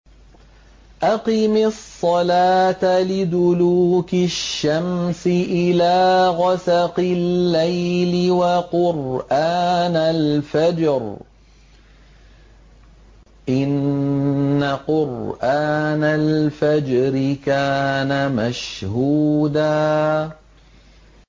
أَقِمِ الصَّلَاةَ لِدُلُوكِ الشَّمْسِ إِلَىٰ غَسَقِ اللَّيْلِ وَقُرْآنَ الْفَجْرِ ۖ إِنَّ قُرْآنَ الْفَجْرِ كَانَ مَشْهُودًا